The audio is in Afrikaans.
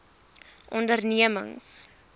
ondernemings